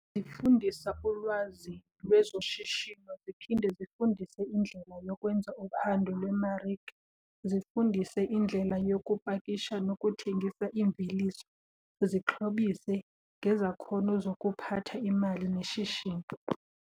Zifundisa ulwazi lwezoshishino ziphinde zifundise indlela yokwenza uphando lwemarike. Zifundise indlela yokupakisha nokuthengisa iimveliso, zixhobise ngezakhono zokuphatha imali neshishini.